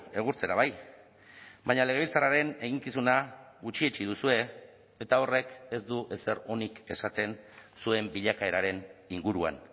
egurtzera bai baina legebiltzarraren eginkizuna gutxietsi duzue eta horrek ez du ezer onik esaten zuen bilakaeraren inguruan